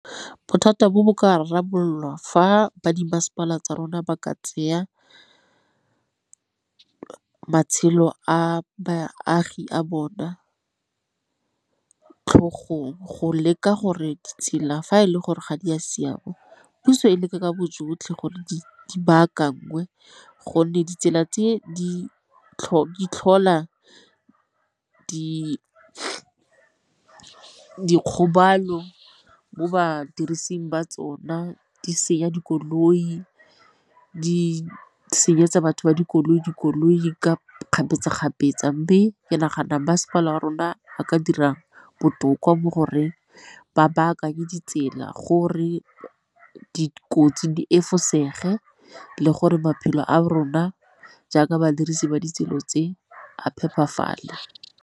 Bothata bo bo ka rarabololwa fa ba di mmasepala tsa rona ba ka tsaya matshelo a baagi a bona tlhogong go leka gore ditsela fa e le gore ga di a siama puso e leke ka bo jotlhe gore di baakanngwe, gonne ditsela tse di tlhola dikgobalo mo badirising ba tsona, di senya dikoloi, di senyetsa batho ba dikoloi di koloi ka kgapetsa-kgapetsa. Mme ke nagana masepala wa rona ba ka dirang botoka mo goreng ba baakanya ditsela gore dikotsi di efosege le gore maphelo a rona jaaka badirisi ba ditsela tse a phepafale.